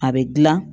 A bɛ dilan